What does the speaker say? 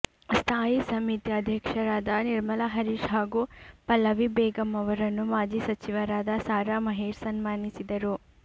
ಸ್ಥಾಯಿ ಸಮಿತಿ ಅಧ್ಯಕ್ಷರಾದ ನಿರ್ಮಲ ಹರೀಶ್ ಹಾಗೂ ಪಲ್ಲವಿ ಬೇಗಮ್ ಅವರನ್ನು ಮಾಜಿ ಸಚಿವರಾದ ಸಾರಾ ಮಹೇಶ್ ಸನ್ಮಾನಿಸಿದರು